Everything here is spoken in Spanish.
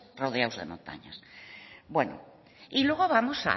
rodeados de montañas bueno y luego vamos